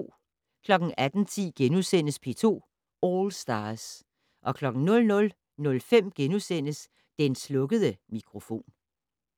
18:10: P2 All Stars * 00:05: Den slukkede mikrofon *